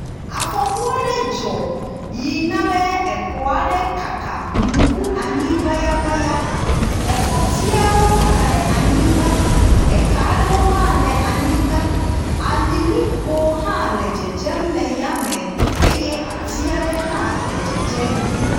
Afɔku aɖe dzɔ yi na be exɔ aɖe kaka mu ƒu anyi ŋayaŋaya. Exɔtiawo kaka ɖe anyigba. Eka aɖewo hã le anyigba. Alilikpo hã le dzedzem le ya me eye ati aɖe hã le dzedzem.